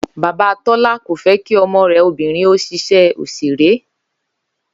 Bàbá Tó̩lá kò fé̩ kí o̩mo̩ rè̩ obìnrin ó s̩is̩é̩ òs̩èré